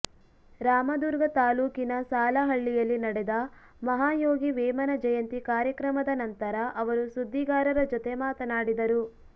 ರಾಮದುರ್ಗ ತಾಲ್ಲೂಕಿನ ಸಾಲಹಳ್ಳಿಯಲ್ಲಿ ನಡೆದ ಮಹಾಯೋಗಿ ವೇಮನ ಜಯಂತಿ ಕಾರ್ಯಕ್ರಮದ ನಂತರ ಅವರು ಸುದ್ದಿಗಾರರ ಜತೆ ಮಾತನಾಡಿದರು